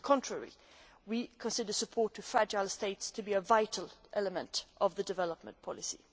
On the contrary, we consider support to fragile states to be a vital element of development policy.